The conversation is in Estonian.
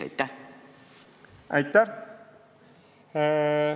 Aitäh!